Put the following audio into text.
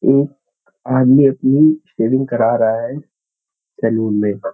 एक आदमी अपनी सेविंग करा रहा है सैलून में --